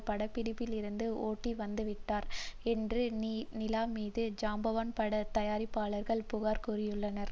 படப்பிடிப்பிலிருந்து ஓடிவந்துவிட்டார் என்றும் நிலா மீது ஜாம்பவான் பட தயாரிப்பாளர்கள் புகார் கூறியுள்ளனர்